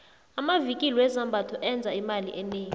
amvikili wezambatho enza imali enengi